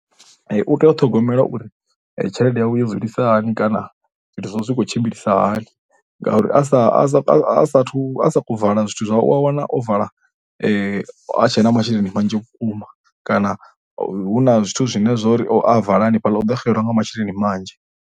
U tea u ṱhogomela uri tshelede yawe yo dzulisa hani kana zwithu zwawe zwi khou tshimbilisa hani ngauri a sa, a sa, a saathu, a sa vala zwithu zwawe u ya wana o vala a tshe na masheleni manzhi vhukuma kana hu na zwithu zwine zwori a vala hanefhaḽa u ḓo xelelwa nga masheleni manzhi.